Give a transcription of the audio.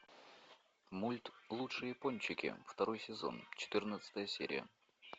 мульт лучшие пончики второй сезон четырнадцатая серия